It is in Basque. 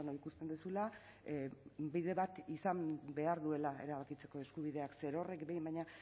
ikusten duzula bide bat izan behar duela erabakitzeko eskubideak zerorrek behin baino